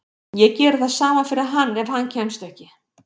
Ég geri það sama fyrir hann ef hann kemst ekki.